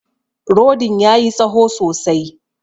Rodin ya yi tsaho sosai.